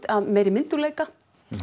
af meiri myndugleika